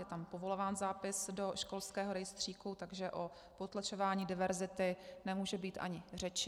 Je tam povolován zápis do školského rejstříku, takže o potlačování diverzity nemůže být ani řeči.